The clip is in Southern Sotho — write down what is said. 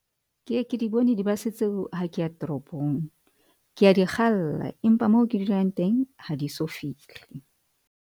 Ke e ke di bone di-bus tseo ha keya toropong. Ke a dikgalla empa moo ke dulang teng ha di so fihle.